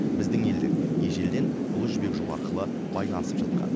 біздің елдер ежелден ұлы жібек жолы арқылы байланысып жатқан